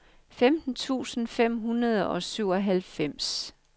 femten tusind fem hundrede og syvoghalvfems